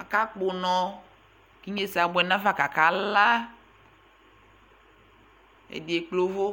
aka kpɔ ɔnɔ ku inyesɛ abuɛ nafa ku akala ɛdi ekple uvu